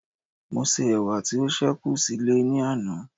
mo se ẹwà ti o sekun sile ni ana